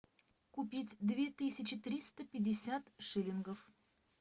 купить две тысячи триста пятьдесят шиллингов